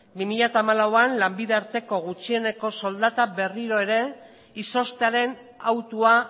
bi mila hamalauean lanbide arteko gutxieneko soldata berriro ere izoztearen autua